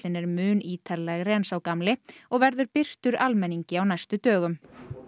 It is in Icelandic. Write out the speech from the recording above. er mun ítarlegri en sá gamli og verður birtur almenningi á næstu dögum